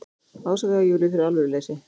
Ásakaði Júlíu fyrir alvöruleysi.